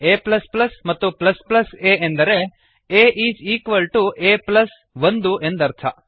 a ಮತ್ತು a ಎಂದರೆ a is equal to a plus ಒಂದು ಎಂದರ್ಥ